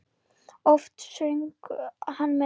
Oft söng hann með.